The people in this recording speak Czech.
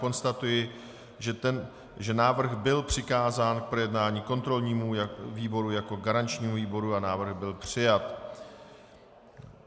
Konstatuji, že návrh byl přikázán k projednání kontrolnímu výboru jako garančnímu výboru a návrh byl přijat.